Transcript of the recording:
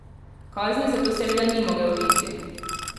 Kazni zato seveda ni mogel uiti.